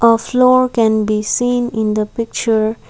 a floor can be seen in the picture.